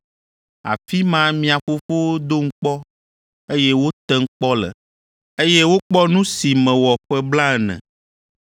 Afi ma mia fofowo dom kpɔ, eye wotem kpɔ le, eye wokpɔ nu si mewɔ ƒe blaene.